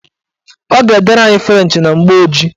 Ọ ga-edere anyị frenchị na mgbooji